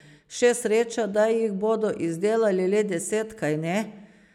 Še sreča, da jih bodo izdelali le deset, kajne?